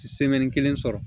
kelen sɔrɔ